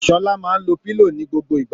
Sọla máa ń lo pillow ní gbogbo ìgbà